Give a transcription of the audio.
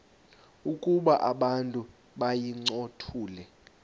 ukuba abantu bayincothule